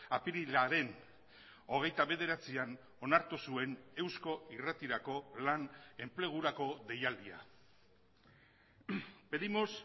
apirilaren hogeita bederatzian onartu zuen eusko irratirako lan enplegurako deialdia pedimos